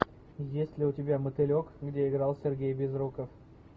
есть ли у тебя мотылек где играл сергей безруков